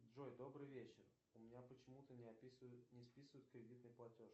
джой добрый вечер у меня почему то не списывают кредитный платеж